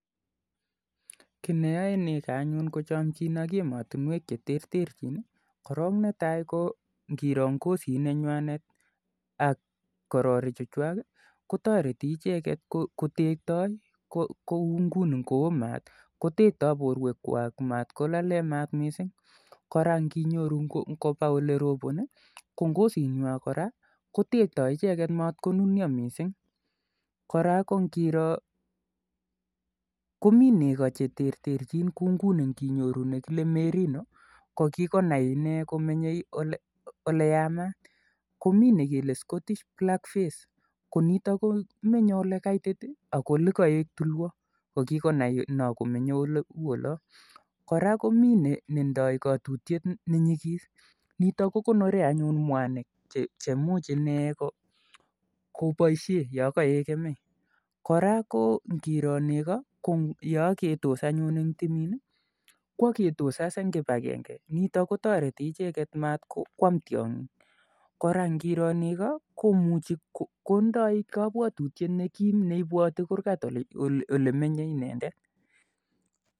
Kii ne yoe negoo anyun ko chomjin ak komaswek cheterterchin Ii netai ngiroo ngzit ak kororik chejwak Ii kotektai ichek yeoo maat ana ko yee kaitit koraa komii negoo koterterchin kouu ngunii merino komenye oleyamat ko nekilee S'cottish blackface'komenyee ole kaitit ak oletulwaa koraa komii netinye katutyet nenyikiss nekonoree mwanik cheboishee olon kemei